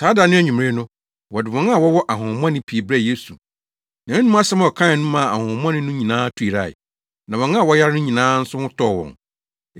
Saa da no anwummere no, wɔde wɔn a wɔwɔ ahonhommɔne pii brɛɛ Yesu. Nʼanom asɛm a ɔkae no maa ahonhommɔne no nyinaa tu yerae, na wɔn a wɔyare no nyinaa nso ho tɔɔ wɔn.